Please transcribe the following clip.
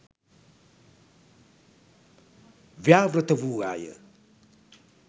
ව්‍යාවෘත වූවා ය.